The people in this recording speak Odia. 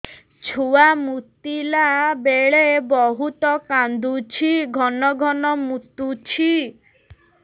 ଛୁଆ ମୁତିଲା ବେଳେ ବହୁତ କାନ୍ଦୁଛି ଘନ ଘନ ମୁତୁଛି